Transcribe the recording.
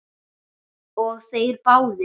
Og þeir báðir.